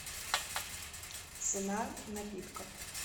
цена напитков